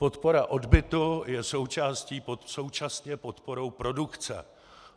Podpora odbytu je současně podporou produkce.